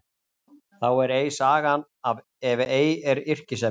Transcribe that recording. Þá er ei sagan ef ei er yrkisefnið.